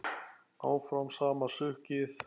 Áfram sama sukkið?